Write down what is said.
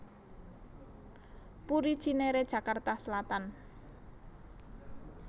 Puri Cinere Jakarta Selatan